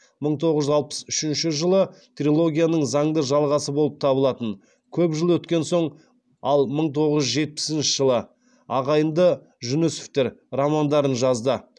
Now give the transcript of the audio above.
мың тоғыз жүз алпыс үшінші жылы трилогияның заңды жалғасы болып табылатын көп жыл өткен соң ал мың тоғыз жүз жетпісінші жылы ағайынды жүнісовтер романдарын жазды